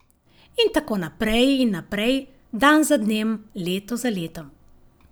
In tako naprej in naprej, dan za dnem, leto za letom ...